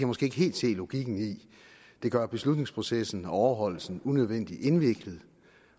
måske ikke helt se logikken i det gør beslutningsprocessen og overholdelsen unødvendig indviklet